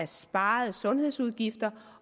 sparede sundhedsudgifter